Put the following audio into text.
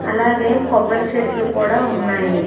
అలాగే కొబ్బరి చెట్లు కూడా ఉన్నాయి.